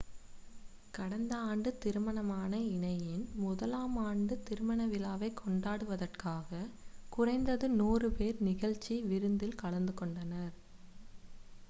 கடந்த ஆண்டு திருமணமான இணையின் முதலாமாண்டு திருமண விழாவைக் கொண்டாடுவதற்காக குறைந்தது 100 பேர் நிகழ்ச்சி விருந்தில் கலந்துகொண்டனர்